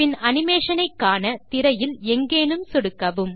பின் animation ஐக்காண திரையில் எங்கேனும் சொடுக்கவும்